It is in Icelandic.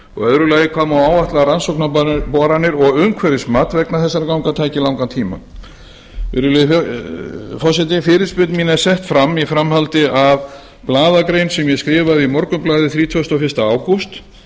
annars hvað má áætla að rannsóknarboranir og umhverfismat vegna þessara ganga taki langan tíma virðulegi forseti fyrirspurn mín er sett fram í framhaldi af blaðagrein sem ég skrifaði í morgunblaðið þrítugasta og fyrsta ágúst þar